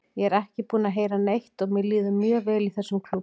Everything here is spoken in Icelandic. Ég er ekki búinn að heyra neitt og mér líður mjög vel í þessum klúbbi.